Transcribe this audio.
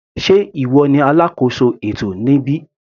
Sé ìwọ ní alákóso ètò níbí.